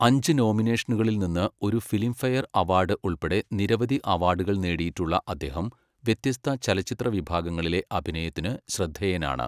അഞ്ച് നോമിനേഷനുകളിൽ നിന്ന് ഒരു ഫിലിംഫെയർ അവാർഡ് ഉൾപ്പെടെ നിരവധി അവാർഡുകൾ നേടിയിട്ടുള്ള അദ്ദേഹം വ്യത്യസ്ത ചലച്ചിത്ര വിഭാഗങ്ങളിലെ അഭിനയത്തിന് ശ്രദ്ധേയനാണ്.